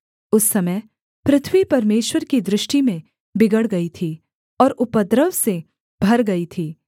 उस समय पृथ्वी परमेश्वर की दृष्टि में बिगड़ गई थी और उपद्रव से भर गई थी